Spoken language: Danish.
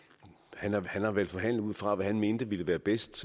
han om han har vel forhandlet ud fra hvad han mente ville være bedst